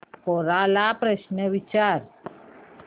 कोरा ला प्रश्न विचार